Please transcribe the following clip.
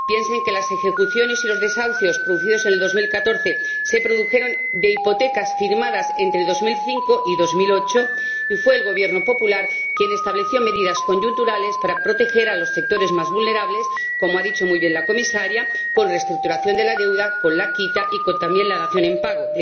Piensen que las ejecuciones y los desahucios realizados en el 2014 tenían su origen en hipotecas firmadas entre 2005 y 2008, y fue el Gobierno popular el que estableció medidas coyunturales para proteger a los sectores más vulnerables —como ha dicho muy bien la Comisaria— con reestructuración de la deuda, con la quita y también con la dación en pago.